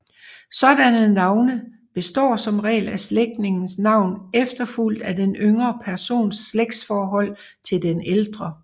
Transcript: Sådanne navne består som regel af slægtningens navn efterfulgt af den yngre persons slægtsforhold til den ældre